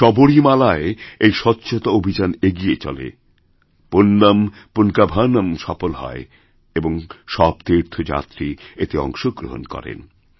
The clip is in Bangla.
সবরীমালায় এই স্বচ্ছতা অভিযান এগিয়ে চলে পুণ্যম্ পুন্কাভনম্ সফল হয় এবং সবতীর্থযাত্রী এতে অংশগ্রহণ করেন